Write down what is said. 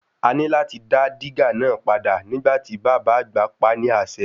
A ní láti dá dígà náà padà nígbà tí bàbá àgbà pa á ni ase.